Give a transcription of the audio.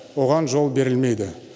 оған жол берілмейді